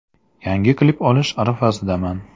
Yangi klip olish arafasidaman.